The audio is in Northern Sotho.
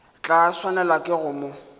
tla swanelwa ke go mo